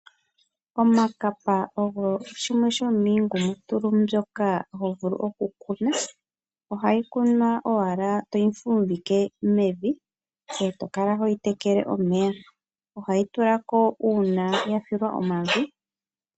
Iikapa oyo yimwe yomiingumutulu mbyoka ho vulu okukuna. Ohayi kunwa owala toyi fumbike mevi ngoye to kala hoyi tekele omeya. Ohayi tula ko uuna ya filwa omavi.